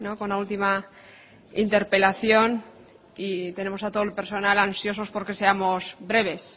con la última interpelación y tenemos a todo el personal ansioso por que seamos breves